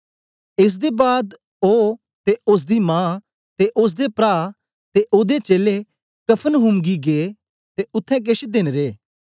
एस दे बाद ओ ते ओसदी मां ते ओसदे प्रा ते ओदे चेलें कफरनहूम गी गै ते उत्थें केछ देन रे